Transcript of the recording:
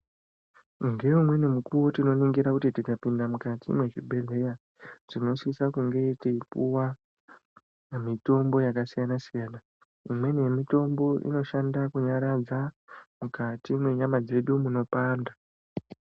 Ngeumweni mukuwo tinoningira kuti tikapinda mukati mwechibhedhlera tinosisa kunge teipiwa mitombo yakasiyana siyana pamweni mitombo inoshanda kunyaradza mukati mwenyama dzedu dzinopanda .